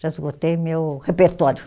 Já esgotei meu repertório.